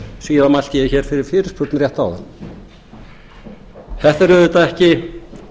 síðan mælti ég hér fyrir fyrirspurn rétt áðan þetta er auðvitað ekki